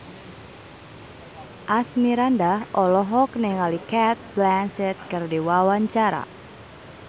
Asmirandah olohok ningali Cate Blanchett keur diwawancara